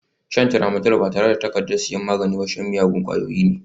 Shan Tramadol ba tare da takardar sayan magani ba shan miyagun ƙwayoyi ne